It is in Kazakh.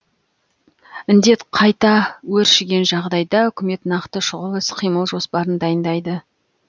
індет қайта өршіген жағдайда үкімет нақты шұғыл іс қимыл жоспарын дайындайды